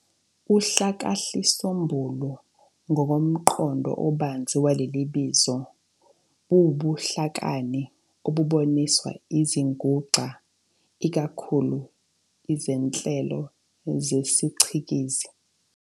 uHlakahlisombulu ngokomqondo obanzi waleli bizo, buwubuhlakani obuboniswa izinguxa, ikakhulu izinhlelo zesicikizi.